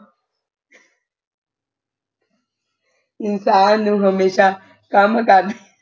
ਇਨਸਾਨ ਨੂੰ ਹਮੇਸ਼ਾ ਕੰਮ ਕਰ